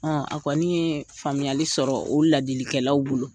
A kɔni ye faamuyali sɔrɔ o ladilikɛlaw bolo.